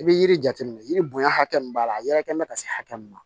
I bɛ yiri jateminɛ yiri bonya hakɛ min b'a la a yɛrɛkɛ mɛ ka se hakɛ min ma